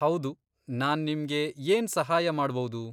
ಹೌದು, ನಾನ್ ನಿಮ್ಗೆ ಏನ್ ಸಹಾಯ ಮಾಡ್ಬೌದು?